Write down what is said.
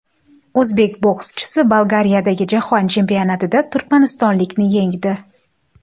O‘zbek bokschisi Bolgariyadagi jahon chempionatida turkmanistonlikni yengdi.